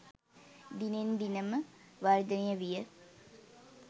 දිනෙන් දිනම වර්ධනය විය